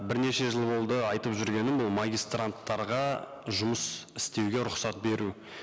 бірнеше жыл болды айтып жүргенім ол магистранттарға жұмыс істеуге рұқсат беру